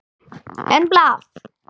En blað?